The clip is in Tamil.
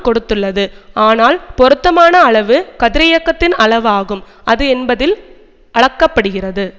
கொடுத்துள்ளது ஆனால் பொருத்தமான அளவு கதிரியக்கத்தின் அளவு ஆகும் அது என்பதில் அளக்க படுகிறது